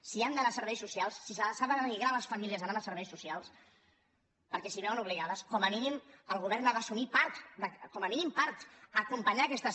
si han d’anar a serveis socials si s’ha de denigrar les famílies anant a serveis socials perquè s’hi veuen obligades com a mínim el govern ha d’assumir part com a mínim part acompanyar aquestes